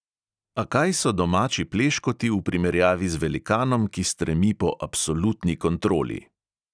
A kaj so domači pleškoti v primerjavi z velikanom, ki stremi po absolutni kontroli!